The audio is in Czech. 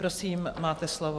Prosím, máte slovo.